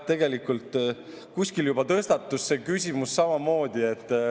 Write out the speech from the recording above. Tegelikult kuskil juba tõstatus see küsimus samamoodi.